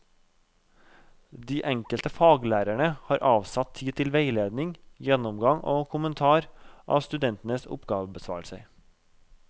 De enkelte faglærerne har avsatt tid til veiledning, gjennomgang og kommentar av studentenes oppgavebesvarelser.